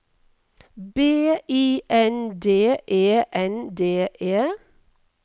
B I N D E N D E